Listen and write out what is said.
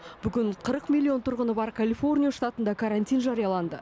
бүгін қырық миллион тұрғыны бар калифорния штатында карантин жарияланды